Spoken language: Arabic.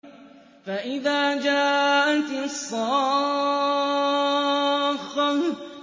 فَإِذَا جَاءَتِ الصَّاخَّةُ